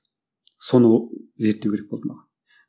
соны зерттеу керек болды маған